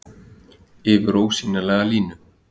Yfir ósýnilega línu.